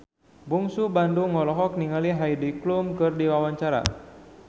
Bungsu Bandung olohok ningali Heidi Klum keur diwawancara